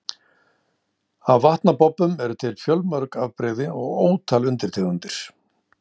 Af vatnabobbum eru til fjölmörg afbrigði og ótal undirtegundir.